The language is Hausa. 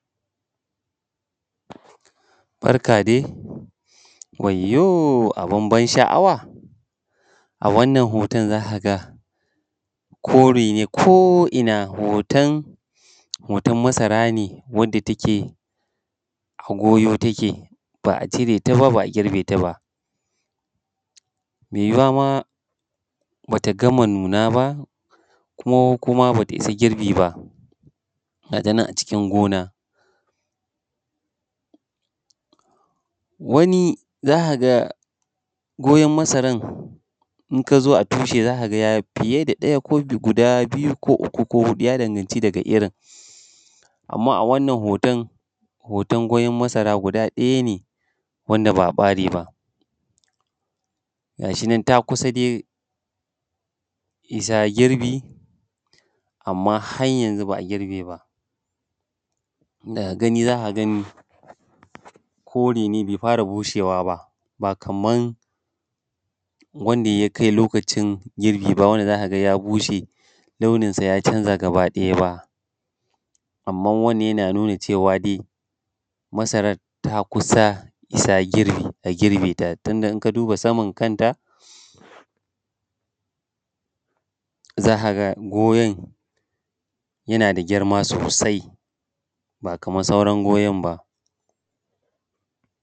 Barka dai, wayyo abun ban sha'awa a wannan hoton za a ga kore ne ko’ina hoton masara ne wanda take a goyo take ba a cire ta ba, ba a girbe ta ba. Me yiwuwa ma bata gama nuna ba ,ko kuma ba ta isa girbi ba, ga ta nan a cikin gona. Wani za ka ga goyan masaran in ka zo a tushe za ka ga ya fiye da ɗaya ko guda biyu ko uku ko huɗu ya danganci daga irin. Amma a wannan hoton goyan masara guda ɗaya ce wanda ba a ɓare ba, gashi nan ta kusa dai isa girbi, amma har yanzu ba a girbe ba. Daga gani za ka gani kore ne bai fara bushewa ba, ba kaman wanda ya kai lokacin girbi ba wanda za ka ga ya bushe launin sa ya canza gaba ɗaya ba. Amman wannan yana nuna cewa dai masaran ta kusa isa girbi a girbe ta tunda in ka duba saman kanta, za ka ga goyan yana da girma sosai ba kaman sauran goyan ba.